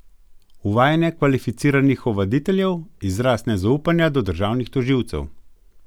Uvajanje kvalificiranih ovaditeljev izraz nezaupanja do državnih tožilcev?